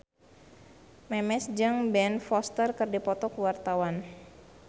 Memes jeung Ben Foster keur dipoto ku wartawan